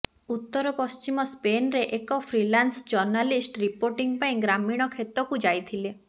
ଉତ୍ତର ପଶ୍ଚିମ ସ୍ପେନରେ ଏକ ଫ୍ରିଲାନ୍ସ ଜର୍ଣ୍ଣାଲିଷ୍ଟ ରିପୋର୍ଟିଙ୍ଗ ପାଇଁ ଗ୍ରାମୀଣ କ୍ଷେତକୁ ଯାଇଥିଲେ